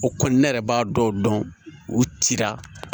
O kɔni ne yɛrɛ b'a dɔw dɔn u cira